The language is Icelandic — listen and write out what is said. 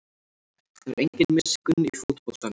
Það er engin miskunn í fótboltanum